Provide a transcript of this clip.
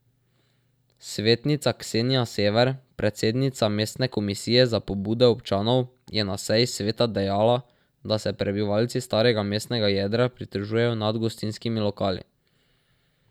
Svetnica Ksenija Sever, predsednica mestne komisije za pobude občanov, je na seji sveta dejala, da se prebivalci starega mestnega jedra pritožujejo nad gostinskimi lokali.